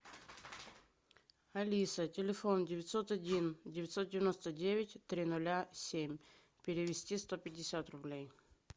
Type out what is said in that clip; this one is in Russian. алиса телефон девятьсот один девятьсот девяносто девять три ноля семь перевести сто пятьдесят рублей